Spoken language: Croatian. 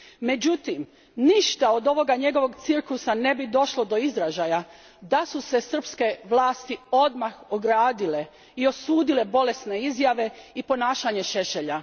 Međutim, ništa od ovog njegovog cirkusa ne bi došlo do izražaja da su se srpske vlasti odmah ogradile i osudile bolesne izjave i ponašanje Šešelja.